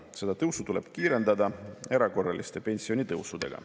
Seda tõusu tuleb kiirendada erakorraliste pensionitõusudega.